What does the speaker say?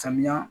Samiya